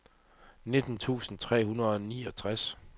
nitten tusind tre hundrede og niogtres